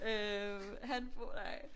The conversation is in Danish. Øh han bor nej